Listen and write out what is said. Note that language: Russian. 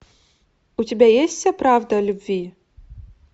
у тебя есть вся правда о любви